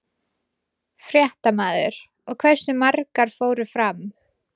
Fréttamaður: Og hversu margar fóru fram?